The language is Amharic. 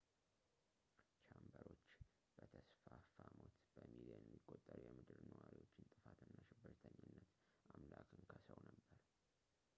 ቻምበርዎች በተስፋፋ ሞት ፣ በሚሊዮን የሚቆጠሩ የምድር ነዋሪዎችን ጥፋት እና ሽብርተኝነት” አምላክን ከሰው ነበር